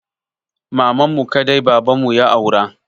Mamanmu kaɗai babanmu ya aura.